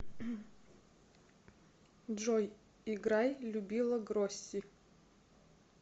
джой играй любила гроси